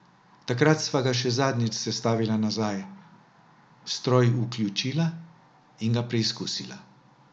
Takrat sva ga še zadnjič sestavila nazaj, stroj vključila in ga preizkusila.